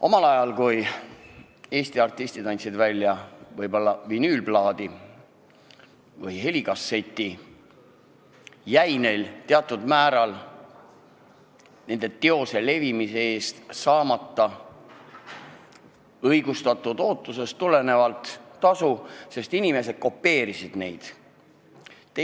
Omal ajal, kui Eesti artistid andsid välja vinüülplaadi või helikasseti, ei saanud nad alati teose levimise eest õigustatud ootusest lähtuvalt tasu, sest inimesed kopeerisid muusikat.